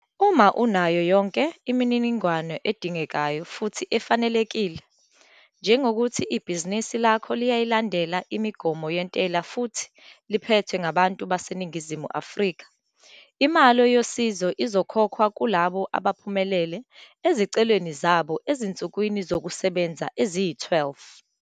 Uma unayo yonke imininingwane edingekayo futhi ufanelekile, njengokuthi ibhizinisi lakho liyayilandela imigomo yentela futhi liphethwe ngabantu baseNingizimu Afrika, imali yosizo izokhokhwa kulabo abaphumelele ezicelweni zabo ezinsukwini zokusebenza eziyi-12.